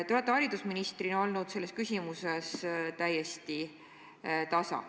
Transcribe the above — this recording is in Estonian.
Te olete haridusministrina olnud selles küsimuses täiesti tasa.